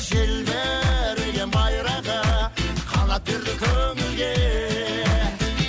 желбіреген байрағы қанат берді көңілге